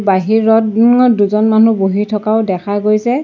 বাহিৰত ঙত দুজন মানুহ বহি থকাও দেখা গৈছে।